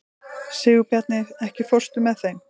Sigurbjarni, ekki fórstu með þeim?